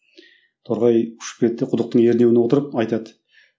торғай ұшып келеді де құдықтың ернеуіне отырып айтады